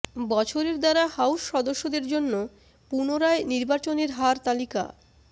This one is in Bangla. বছরের দ্বারা হাউস সদস্যদের জন্য পুনরায় নির্বাচনের হার তালিকা